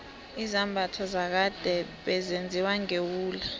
izambatho zakade bezenziwa ngewula